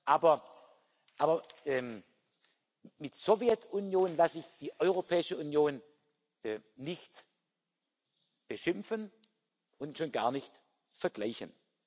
Aber mit Sowjetunion lasse ich die Europäische Union nicht beschimpfen und schon gar nicht vergleichen.